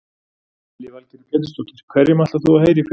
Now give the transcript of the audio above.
Lillý Valgerður Pétursdóttir: Hverjum ætlar þú að heyra í fyrst?